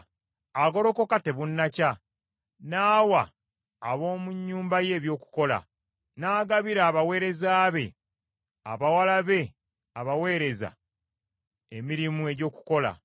Agolokoka tebunnakya, n’awa ab’omu nnyumba ye ebyokulya, n’agabira abaweereza be abawala be abaweereza emirimu egy’okukola.